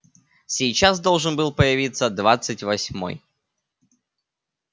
сейчас должен был появиться двадцать восьмой